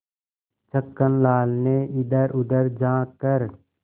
छक्कन लाल ने इधरउधर झॉँक कर